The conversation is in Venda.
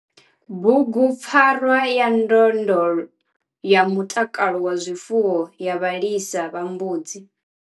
Bugupfarwa ya ndondolo ya mutakalo wa zwifuwo ya vhalisa vha mbudzi.